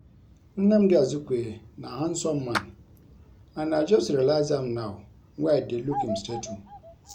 Nnamdi Azikiwe na handsome man and I just realize am now wey I dey look im statue